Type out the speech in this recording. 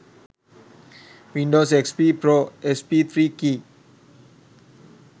windows xp pro sp3 key